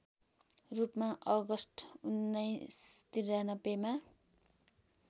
रूपमा अगस्ट १९९३ मा